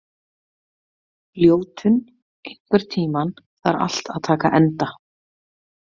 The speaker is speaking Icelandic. Ljótunn, einhvern tímann þarf allt að taka enda.